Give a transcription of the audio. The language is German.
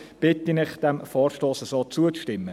Ich bitte Sie, diesem Vorstoss so zuzustimmen.